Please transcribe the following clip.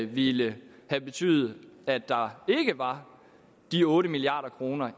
ville have betydet at der ikke var de otte milliard kroner